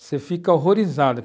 Você fica horrorizado.